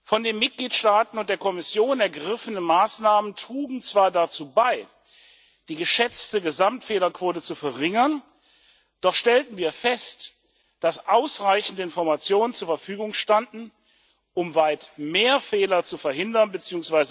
Von den Mitgliedstaaten und der Kommission ergriffene Maßnahmen trugen zwar dazu bei, die geschätzte Gesamtfehlerquote zu verringern, doch stellten wir fest, dass ausreichende Informationen zur Verfügung standen, um weit mehr Fehler zu verhindern bzw.